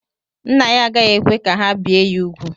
Nna ya agaghị ekwe ka ha bie ya úgwù.